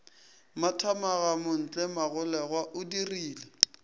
mathamaga montle magolego o dirile